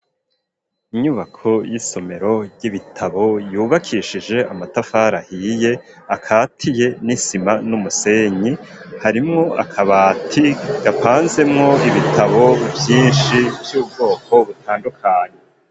Inyubako y'isomero ryibitabo yubakishije amatafari ahiye akatiye n'isima n'umusenyi harimwo akabati gapanzemwo ibitabo vyishi vy'ubwoko butandukanye.